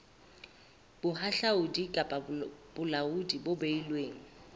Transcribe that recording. bohahlaudi kapa bolaodi bo beilweng